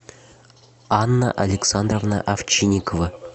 анна александровна овчинникова